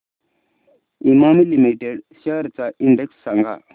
Emami limited shares चा index सांगा